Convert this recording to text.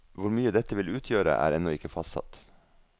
Hvor mye dette vil utgjøre, er ennå ikke fastsatt.